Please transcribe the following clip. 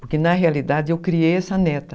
Porque na realidade eu criei essa neta.